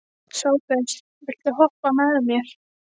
Sophus, viltu hoppa með mér?